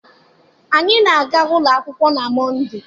Anyị na-aga ụlọ akwụkwọ na Mọndee.